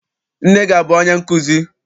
Nne gị abụ onye nkụzi?